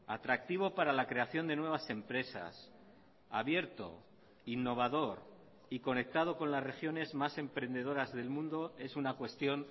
atractivo para la creación de nuevas empresas abierto innovador y conectado con las regiones más emprendedoras del mundo es una cuestión